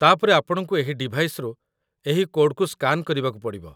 ତା'ପରେ ଆପଣଙ୍କୁ ଏହି ଡିଭାଇସ୍‌ରୁ ଏହି କୋଡ୍‌କୁ ସ୍କାନ୍ କରିବାକୁ ପଡି଼ବ।